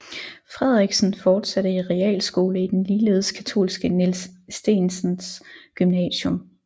Frederiksen fortsatte i realskole i den ligeledes katolske Niels Steensens Gymnasium